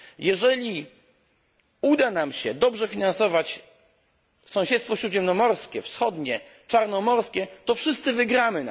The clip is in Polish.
Jeżeli uda nam się dobrze finansować sąsiedztwo śródziemnomorskie, wschodnie, czarnomorskie, to wszyscy na tym wygramy.